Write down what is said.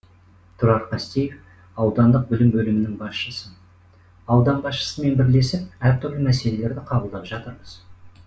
тұрар қастеев аудандық білім бөлімінің басшысы аудан басшысымен бірлесіп әртүрлі мәселелерді қабылдап жатырмыз